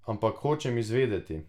Ampak hočem izvedeti.